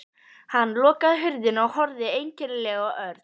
Hann lokaði hurðinni og horfði einkennilega á Örn.